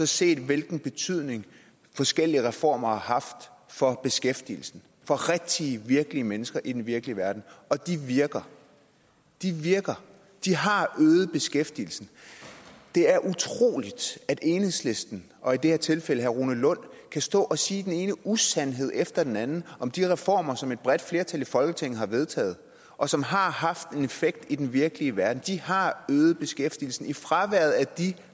set på hvilken betydning forskellige reformer har haft for beskæftigelsen for rigtige virkelige mennesker i den virkelige verden og de virker de virker de har øget beskæftigelsen det er utroligt at enhedslisten og i det her tilfælde herre rune lund kan stå og sige den ene usandhed efter den anden om de reformer som et bredt flertal i folketinget har vedtaget og som har haft en effekt i den virkelige verden de har øget beskæftigelsen i fraværet af de